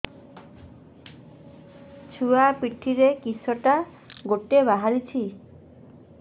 ଛୁଆ ପିଠିରେ କିଶଟା ଗୋଟେ ବାହାରିଛି